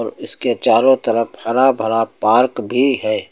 इसके चारों तरफ हरा भरा पार्क भी है।